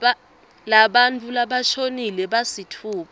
labantfu labashonile labasitfupha